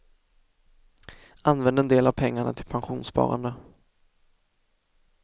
Använd en del av pengarna till pensionssparande.